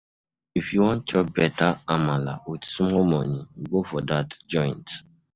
If you wan chop beta Amala wit small monie, go for dat joint.